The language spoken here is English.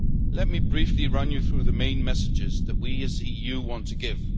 Let me briefly run you through the main messages that we as the EU want to give.